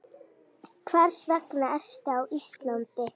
Hvers vegna ertu á Íslandi?